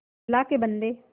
अल्लाह के बन्दे